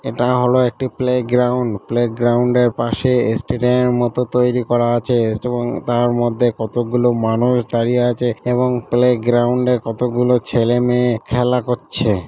এটা হল একটি প্লে গ্রাউন্ড প্লে গ্রাউন্ড -এর পাশে এস্টেডিয়াম -এর মত তৈরি করা আছে এবং তার মধ্যে কতগুলি মানুষ দাঁড়িয়ে আছে এবং প্লে গ্রাউন্ড -এ কতগুলি ছেলে মেয়ে খেলা করছে।